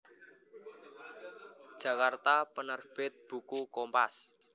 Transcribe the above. Jakarta Penerbit Buku Kompas